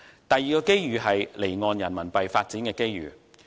第二個機遇，就是離岸人民幣發展的機遇。